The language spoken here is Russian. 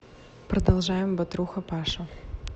продолжаем батруха паша